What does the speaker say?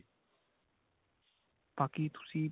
ਬਾਕੀ ਤੁਸੀਂ